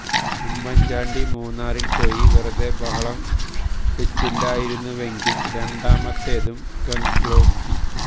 ഉമ്മന്ചാണ്ടി മൂന്നാറില് പോയി വെറുതെ ബഹളം വെച്ചില്ലായിരുന്നുവെങ്കില് രണ്ടാമത്തേതും ഗഗ്ഗോപി